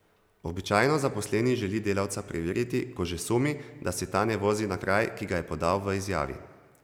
Običajno zaposleni želi delavca preveriti, ko že sumi, da se ta ne vozi na kraj, ki ga je podal v izjavi.